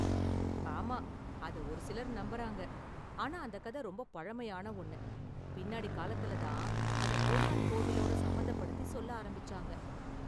ஆமா, அத ஒரு சிலர் நம்புறாங்க, ஆனா அந்த கத ரொம்ப பழமையான ஒன்னு, பின்னாடி காலத்துல தான் அத கோனார்க் கோவிலோட சம்பந்தப்படுத்தி சொல்ல ஆரம்பிச்சாங்க.